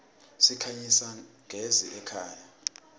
sikhanyisa gez iemakhaya